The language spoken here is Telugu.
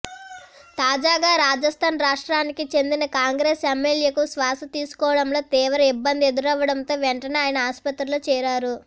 తాజాగా రాజస్థాన్ రాష్ట్రానికి చెందిన కాంగ్రెస్ ఎమ్మెల్యేకు శ్వాస తీసుకోవడంలో తీవ్ర ఇబ్బంది ఎదురవ్వడంతో వెంటనే ఆయన ఆస్పత్రిలో చేరారు